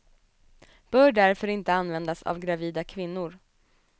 Bör därför inte användas av gravida kvinnor.